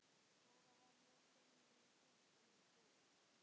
Dóra var mörgum kostum búin.